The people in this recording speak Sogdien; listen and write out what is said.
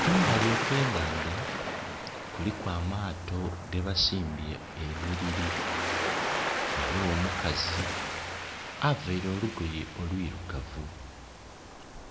Kumbali okwe naandha kuliku amaato gebasimbye eniriri. Waliwo omukazi avaire olugoye olwirugavu.